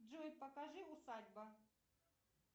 джой покажи усадьба